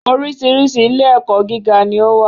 Oríṣiríṣi ilé-ẹ̀kọ́ gíga ni ó wà.